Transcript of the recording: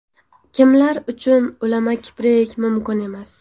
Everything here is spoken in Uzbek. Kimlar uchun ulama kiprik mumkin emas?